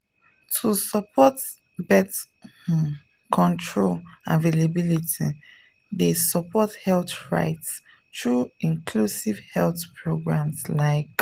to support birth um control availability dey support health rights through inclusive health programs like.